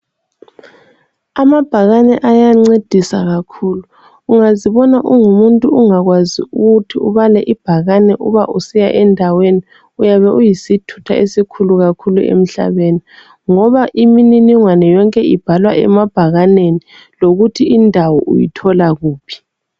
Amabhakane ayencedisa kakhulu. Ungazibona ungumuntu ungakwazi ukuthi ubale ibhakane uba usiya endaweni, uyabe uyisithutha esikhulu kakhulu emhlabeni ngoba imininingwane yonke ibhalwa emabhakaneni lokuthi indawo uyithola kuphi.